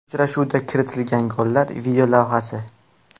Uchrashuvda kiritilgan gollar videolavhasi.